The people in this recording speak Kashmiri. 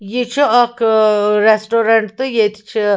یہِ چُھ اکھ آریسٹورنٹ تہٕ ییٚتہِ چھ